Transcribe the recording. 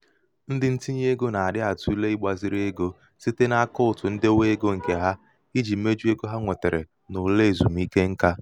ndị ntinye ego nà-àda atụ̀le ịgbāzīrī egō site n’àkaụ̀ǹtụ̀ ndewe egō ǹ̀kè ha ijī mejuo ego ha nwètèrè n’ụ̀la èzùmike ṅkā.